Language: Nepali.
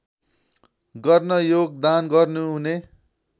गर्न योगदान गर्नुहुने